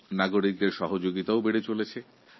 জনসাধারণের অংশীগ্রহণও বেড়ে চলেছে